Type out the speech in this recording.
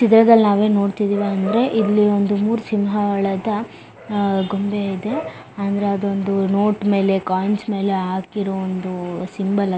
ಇಜೆಗ್ದಲ್ ನಾವು ಏನ್ ನೋಡತ್ತಿವಿ ಅಂದ್ರೆ ಇಲ್ಲಿ ಒಂದು ಮೂರ್ ಸಿಂಹ ಉಳದ್ದ ಅಹ್ ಗೊಂಬೆ ಇದೆ ಅಂದ್ರೆ ಅದೊಂದು ನೋಟ್ ಮೇಲೆ ಕೊಯಿನ್ಸ್ ಮೇಲೆ ಹಾಕಿರೋ ಒಂದು ಸಿಂಬಲ್ ಅ --